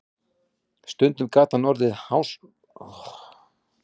Stundum gat hann orðið háðskur, sérstaklega ef nemendur voru klaufalegir í tilsvörum.